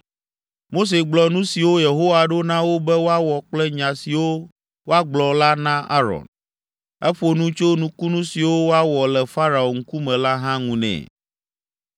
Mose gblɔ nu siwo Yehowa ɖo na wo be woawɔ kple nya siwo woagblɔ la na Aron. Eƒo nu tso nukunu siwo woawɔ le Farao ŋkume la hã ŋu nɛ.